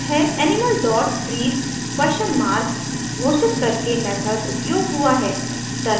animal dot breathe questionmark घोषित करके method उपयोग हुआ है